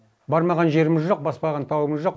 бармаған жеріміз жоқ баспаған тауымыз жоқ